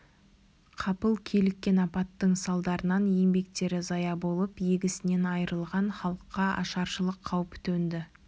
қапыл киліккен апаттың салдарынан еңбектері зая болып егісінен айрылған халыққа ашаршылық қаупі төнді